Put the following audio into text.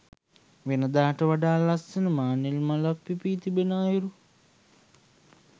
වෙනදාට වඩා ලස්සන මානෙල් මලක් පිපී තිබෙන අයුරු